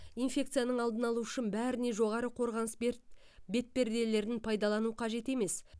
инфекцияның алдын алу үшін бәріне жоғары қорғаныс берт бетперделерін пайдалану қажет емес